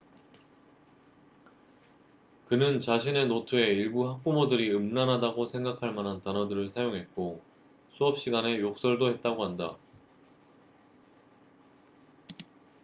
그는 자신의 노트에 일부 학부모들이 음란하다고 생각할만한 단어들을 사용했고 수업 시간에 욕설도 했다고 한다